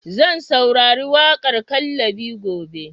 Zan saurari waƙar "Kallabi" gobe.